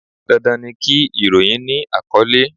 Dandan ni kí ìròyìn ni àkọ́lé.